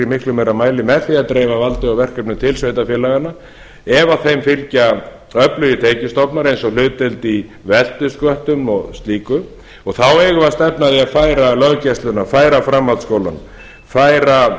í miklu meira mæli með því að dreifa valdi og verkefnum til sveitarfélaganna ef þeim fylgja öflugir tekjustofnar eins og hlutdeild í veltusköttum og slíku þá eigum við að stefna að því að færa löggæsluna færa framhaldsskólann færa